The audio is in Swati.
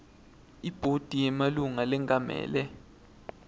ibhodi yemalunga lengamele